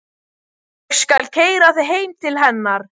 Ég skal keyra þig heim til hennar.